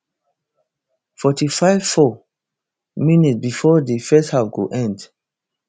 forty-five four minsbifor di first half go end